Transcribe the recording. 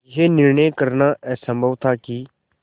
यह निर्णय करना असम्भव था कि